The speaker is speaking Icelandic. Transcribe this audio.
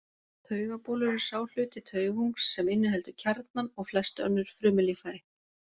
Taugabolur er sá hluti taugungs sem inniheldur kjarnann og flest önnur frumulíffæri.